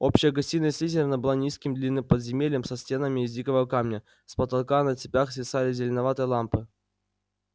общая гостиная слизерина была низким длинным подземельем со стенами из дикого камня с потолка на цепях свисали зеленоватые лампы